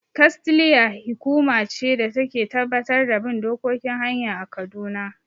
"KASTLEA" hi kuma ce da ta Ke tabbatar da bin dokokin hanya a kaduna